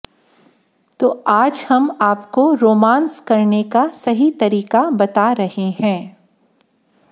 तो आज हम आपको रोमांस करने का सही तरीका बता रहे हैं